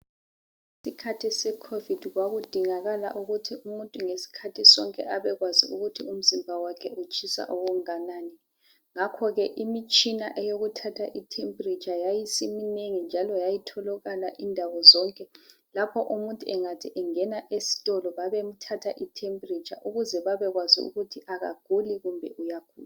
ngesikhathi se COVID kwakudingakala ngesikhathi sonke ukuthi umuntu abe kwazi ngesikhathi sonke ukuthi umzimba wakhe utshisa okunganani ngakho ke imitshina eyokuthatha i temperature yayisiminengi njalo yayitholakala ndawo zonke lapho umuntu engathi engena esitolo babemthatha i temperature ukuze babekwazi ukuthi akaguli kumbe uyagula